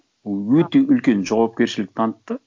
өте үлкен жауапкершілік танытты